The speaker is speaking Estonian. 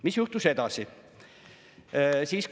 Mis juhtus edasi?